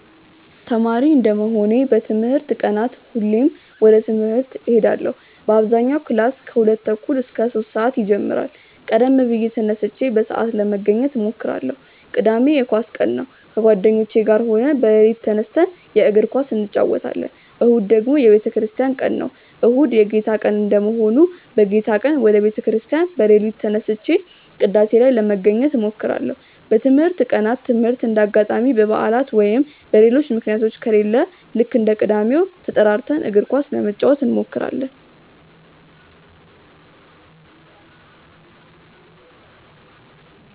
ተማሪ እንደመሆኔ በትምህርት ቀናት ሁሌም ወደ ትምህርት እሄዳለው በአብዛኛው ክላስ ከሁለት ተኩል እስከ ሶስት ሰአት ይጀምራል ቀደም ብዬ ተነስቼ በሰአት ለመገኘት እሞክራለው። ቅዳሜ የኳስ ቀን ነው ከጓደኞቼ ጋር ሆነን በሌሊት ተነስተን የእግር ኳስ እንጨወታለን። እሁድ ደግሞ የቤተክርስቲያን ቀን ነው። እሁድ የጌታ ቀን እንደመሆኑ በጌታ ቀን ወደ ቤተ ክርስቲያን በሌሊት ተነስቼ ቅዳሴ ላይ ለመገኘት እሞክራለው። በትምህርት ቀናት ትምህርት እንደ አጋጣሚ በባዕላት ወይም በሌሎች ምክንያቶች ከሌለ ልክ እንደ ቅዳሜው ተጠራርተን እግር ኳስ ለመጫወት እንሞክራለው።